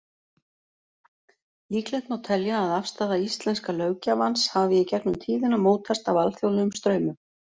Líklegt má telja að afstaða íslenska löggjafans hafi í gegnum tíðina mótast af alþjóðlegum straumum.